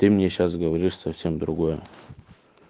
ты мне сейчас говоришь совсем другое